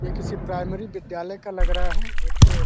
ये किसी प्राइमरी विद्यालय का लग रहा है। एक अ --